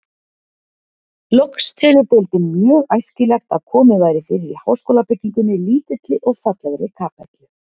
Loks telur deildin mjög æskilegt, að komið væri fyrir í háskólabyggingunni lítilli og fallegri kapellu.